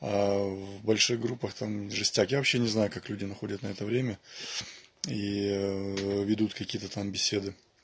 в больших группах там жесть я вообще не знаю как люди находят на это время и ведут какие-то там беседы